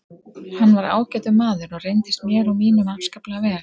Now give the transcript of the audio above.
Hann var ágætur maður og reyndist mér og mínum afskaplega vel.